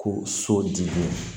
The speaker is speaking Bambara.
Ko so dili